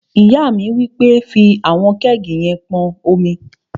Ìyá mi wí pé, "fí àwọn kẹ́ẹ̀gì yẹn pọn omi!"